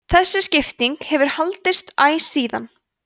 þessi skipting hefur haldist æ síðan